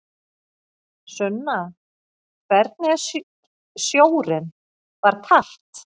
Sunna: Hvernig er sjórinn, var kalt?